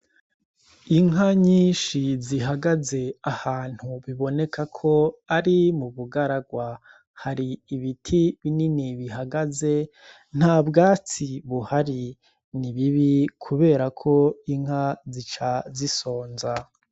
Inka nyinshi zihagaze Ahantu bibonekako ari mu bugararwa , Har'ibiti binini bihagaze nta bwatsi buhari , ni bibi kuberako inka zica zisonza.